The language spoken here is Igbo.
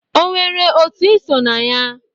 O nwere otu ị so na ya?